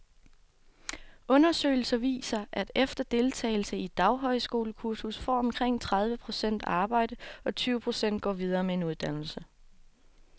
Undersøgelser viser, at efter deltagelse i et daghøjskolekursus får omkring tredive procent arbejde, og tyve procent går videre med en uddannelse.